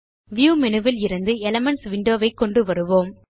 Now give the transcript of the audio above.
view menu விலிருந்து elements window வை கொண்டு வருவோம்